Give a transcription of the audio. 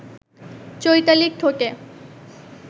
চৈতালির ঠোঁটে